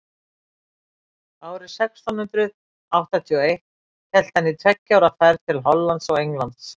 árið sextán hundrað áttatíu og eitt hélt hann í tveggja ára ferð til hollands og englands